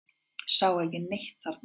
Sá ekki neitt þarna.